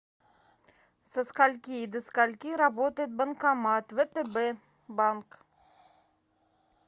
со скольки и до скольки работает банкомат втб банк